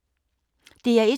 DR1